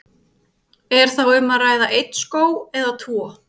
Er þá um að ræða einn skóg eða tvo?